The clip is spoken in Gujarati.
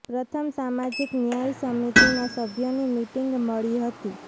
પ્રથમ સામાજીક ન્યાય સમિતિ ના સભ્યોની મીટીંગ મળી હતી